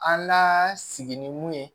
An la sigi ni mun ye